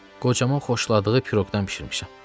Qocaman xoşladığı piroqdan bişirmişəm.